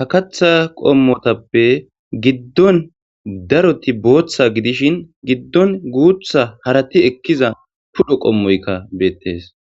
ha katha qommotappe giddon daroti booththa gidishin giddon guutha harati ekkiza tudho qommoykka beettes